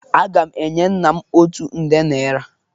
Aga m enye nna m otu nde naira.